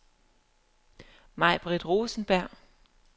Maibritt Rosenberg